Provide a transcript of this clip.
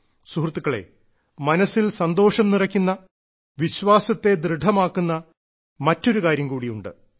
സുഹൃത്തുക്കളെ മനസ്സിൽ സന്തോഷം നിറയ്ക്കുന്ന വിശ്വാസത്തെ ദൃഢമാകുന്ന മറ്റൊരു കാര്യം കൂടിയുണ്ട്